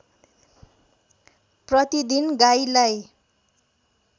प्रतिदिन गाईलाई